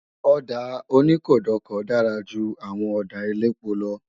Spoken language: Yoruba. Ọ̀dà oníkódokòo dára ju àwọn ọ̀dà elépo lọ